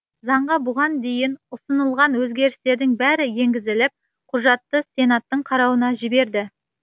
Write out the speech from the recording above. заңға бұған дейін ұсынылған өзгерістің бәрі енгізіліп құжатты сенаттың қарауына жіберді